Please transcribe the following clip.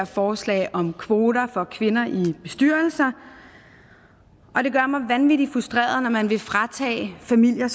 forslag om kvoter for kvinder i bestyrelser og det gør mig vanvittig frustreret når man vil fratage familier